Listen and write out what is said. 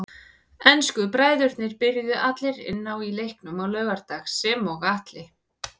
Ensku bræðurnir byrjuðu allir inn á í leiknum á laugardag sem og Atli.